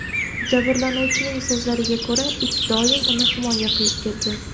Jabrlanuvchining so‘zlariga ko‘ra, it doim uni himoya qilib kelgan.